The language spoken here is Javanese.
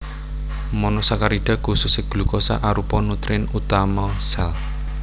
Monosakarida khususé glukosa arupa nutrien utama sel